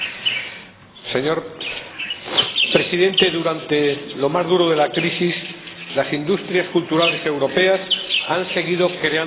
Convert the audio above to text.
Señora Presidenta, durante lo más duro de la crisis, las industrias culturales europeas han seguido creando empleo.